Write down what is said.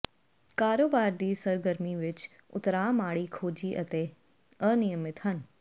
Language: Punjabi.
ਕਾਰੋਬਾਰ ਦੀ ਸਰਗਰਮੀ ਵਿੱਚ ਉਤਰਾਅ ਮਾੜੀ ਖੋਜੀ ਅਤੇ ਅਨਿਯਮਿਤ ਹਨ